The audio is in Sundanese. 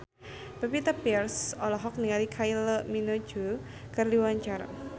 Pevita Pearce olohok ningali Kylie Minogue keur diwawancara